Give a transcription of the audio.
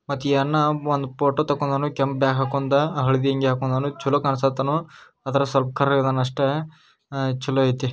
ಮತ್ ಇ ಅಣ್ಣ ಒಂದ್ ಫೋಟೋ ತಕೊಂದಾನೋ ಕೆಂಪ್ ಬ್ಯಾಗ್ ಹಾಕೊಂದ ಹಳದಿ ಅಂಗಿ ಹಾಕೊಂದಾನೋ ಚಲೋ ಕಾಣ್ಸಕ್ ಅತ್ತಾನೋ ಆದ್ರೆ ಸ್ವಲ್ಪ್ ಕರ್ರಗೆ ಅದಾನ್ ಅಷ್ಟೇ ಅಹ್ ಚೆಲ್ಲೋ ಐತಿ.